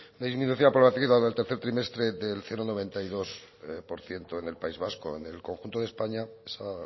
la disminución de la población activa del tercer trimestre del cero coma noventa y dos por ciento en el país vasco en el conjunto de españa esa